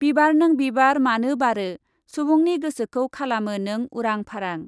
बिबार नों बिबार मानो बारो ? सुबुंनि गोसोखौ खालामो नों उरां फारां।